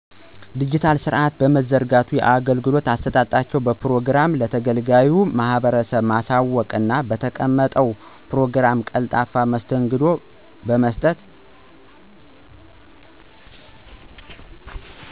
ድጅታል ስርአት በመዘርጋት የአገልግሎት አሰጣጣቸውን በፕሮግራም ለተገልጋዩ ማህበረሰብ ማሳወቅና በተቀመጠው ፕሮግራም ቀልጣፋ መስተንግዶ በመስጠት።